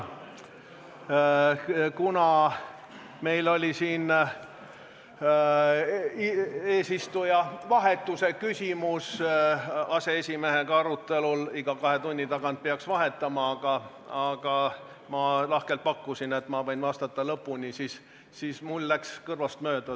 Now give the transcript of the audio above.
Kuna meil oli aseesimehega eesistuja vahetuse küsimus arutelul, iga kahe tunni tagant peaks eesistujat vahetama , siis mul läks see küsimus kõrvust mööda.